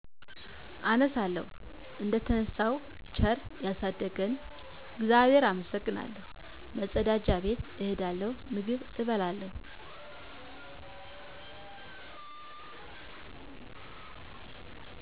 እነሣለሁ። እደተነሣው ቸር ያሣደረኝን እግዚአብሔር አመሠግናለሁ፤ መፀዳጃ ቤት እሄዳለሁ፤ ምግብ አበስላለሁ።